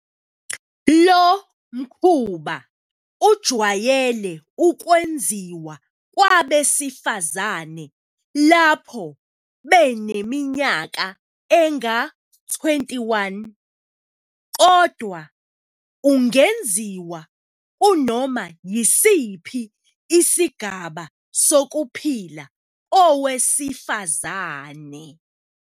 Lo mkhuba ujwayele ukwenziwa kwabesifazane lapho beneminyaka enga-21, kodwa ungenziwa kunoma yisiphi isigaba sokuphila kowesifazane.